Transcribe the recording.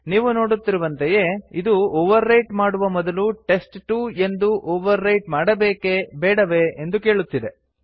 ನೀವು ನೋಡುತ್ತಿರುವಂತೆಯೇ ಅದು ಓವರ್ ರೈಟ್ ಮಾಡುವ ಮೊದಲು ಟೆಸ್ಟ್2 ಎಂದು ಓವರ್ ರೈಟ್ ಮಾಡಬೇಕೇ ಬೇಡವೇ ಎಂದು ಕೇಳುತ್ತಿದೆ